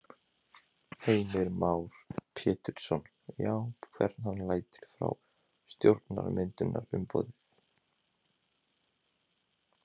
Heimir Már Pétursson: Já, hvern hann lætur frá stjórnarmyndunarumboðið?